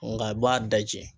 Nka a b'a daji.